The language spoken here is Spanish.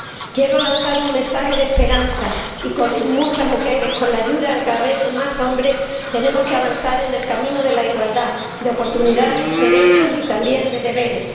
Quiero lanzar un mensaje de esperanza muchas mujeres, con la ayuda de cada vez más hombres, tenemos que avanzar en el camino de la igualdad de oportunidades, derechos y también de deberes.